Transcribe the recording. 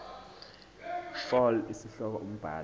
fal isihloko umbhali